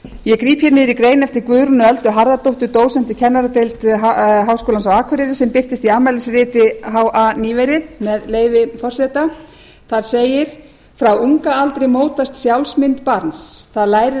hér niður í grein eftir guðrúnu öldu harðardóttur dósent við kennaradeild við háskólann á akureyri sem birtist í afmælisriti ha með leyfi forseta þar segir frá unga aldri mótast sjálfsmynd barns það lærir